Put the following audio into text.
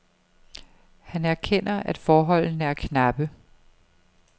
Han erkender, at forholdene er knappe.